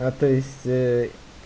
а то есть ээ